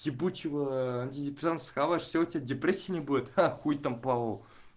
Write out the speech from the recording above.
ебучего все у тебя депрессия не будет а хуй там плавал